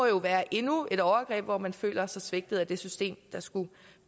jo være endnu et overgreb hvor man føler sig svigtet af det system der skulle